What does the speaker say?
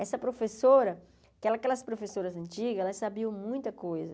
Essa professora, que aquelas professoras antigas, elas sabiam muita coisa.